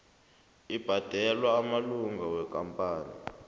abhadelwa amalunga wamakampani